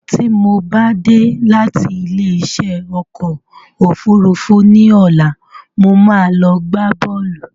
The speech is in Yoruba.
Tí mo bá dé láti ilé isẹ́ ọkọ̀ òfúrúúfú ní ọ̀la, mo máa lọ gbá boolu